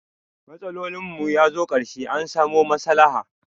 Matsolin mu ya zo karshe, an samu maslaha.